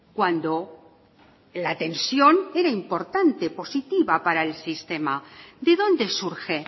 cuando la tensión era importante positiva para el sistema de dónde surge